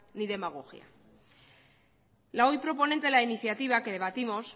ni demagogia la hoy proponente de la iniciativa que debatimos